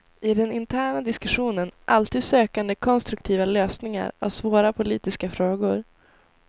I den interna diskussionen alltid sökande konstruktiva lösningar av svåra politiska frågor.